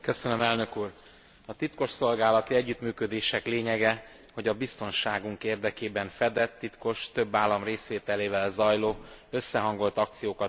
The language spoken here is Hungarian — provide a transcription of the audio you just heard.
A titkosszolgálati együttműködések légyege, hogy a biztonságunk érdekében fedett, titkos, több állam részvételével zajló összehangolt akciókat hajtsanak végre.